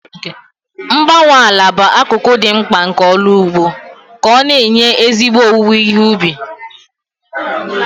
Mgbanwe ala bụ akụkụ dị mkpa nke ọrụ ugbo ka ọ na-enye ezigbo owuwe ihe ubi.